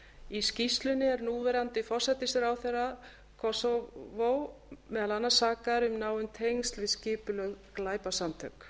í skýrslunni er núverandi forsætisráðherra kósóvó meðal annars sakaður um náin tengsl við skipulögð glæpasamtök